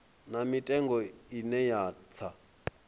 na mitengo ine ya tsa